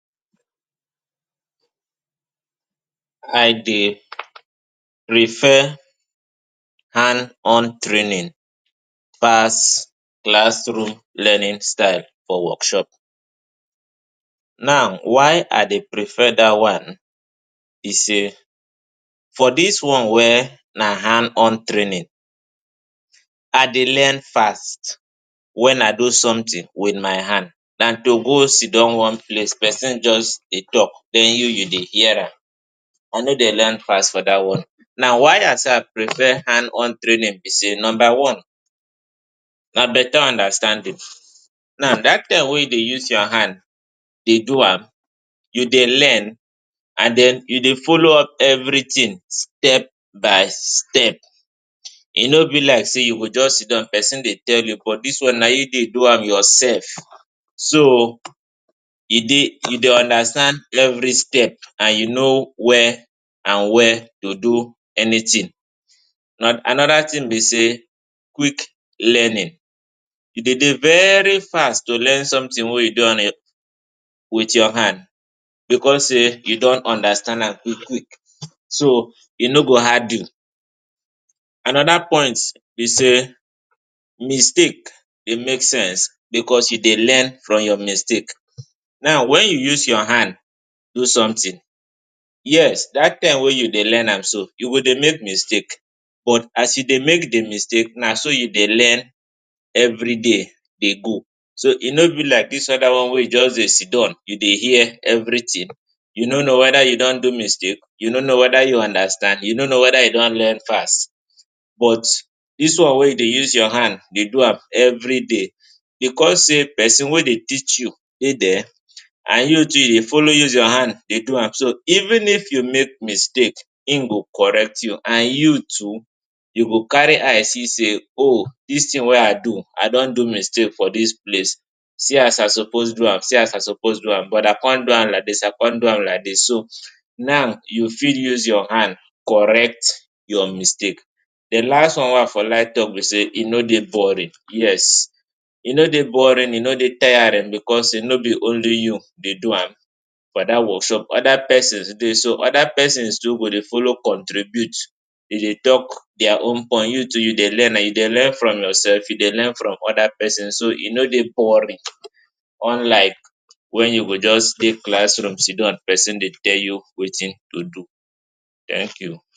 I dey prefer hand on training pass classroom learning style for workshop. Now why I dey prefer dat one be say for dis one wey na hand on training, I dey learn fast. Wen I do somtin wit my hand, na to go sidon wan place, pesin just dey tok den you dey hear am, I no dey learn fast for dat one. Now why I start prefer hand on training be say number one na betta understanding. Now dat time wey you dey use your hand dey do am, you dey learn and den you dey follow up evritin step by step. E no be like say you go just sidon, pesin dey tok, but dis one na you dey do am yoursef. So e dey, e dey understand evri step and you know wia and wia to do anytin. Anoda tin be say quick learning. You dey very fast to learn somtin wey you dey wit your hand bicos say you don understand am quick quick, so e no go hard you. Anoda point be say mistake dey make sense bicos you dey learn from your mistake. Now wen you use your hand do somtin, yes dat time wey you dey learn am, you go dey make mistake. But as you dey make di mistake, na so you dey learn evri day dey go. So e no be like dis oda one wey you just dey sidon, you dey hear evritin. You no know weda you don do mistake, you no know weda you understand, you no know weda you don learn fast. But dis one wey you dey use your hand dey do am evri day, bicos say pesin wey dey teach you dey dia and you too you dey follow use your hand dey do am. So even if you make mistake, im go correct you and you too you go carry eye see say oh dis tin wey I do, I don do mistake for dis place, see as I suppose do am, see as I suppose do am but I come do am like dis, I come do am like dis. Now you fit use your hand correct your mistake. Di last one wey I for like tok be say e no dey boring. Yes, e no dey boring, e no dey tiring bicos say no be only you dey do am for dat workshop. Oda pesin dey, so oda pesin too go dey follow contribute, dey dey tok dia own point. You too you dey learn, you dey learn from yoursef, e dey learn from oda pesin. So e no dey boring unlike wen you go just dey classroom sidon, pesin dey tok wetin to do. Thank you.